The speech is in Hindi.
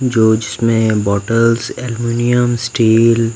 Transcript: जो जिसमें बॉटल्स एल्यूमिनियम स्टील --